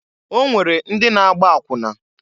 O nwere ndi na-agba akwụna.